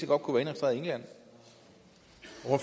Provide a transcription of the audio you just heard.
var registreret i england